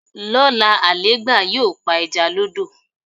Lóla, Àlẹ́ẹ́gbà yóò pa ẹja lọ́dọ̀.